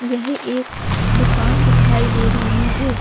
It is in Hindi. यह एक दुकान दिखाई दे रही है।